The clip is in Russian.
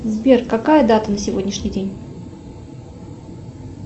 сбер какая дата на сегодняшний день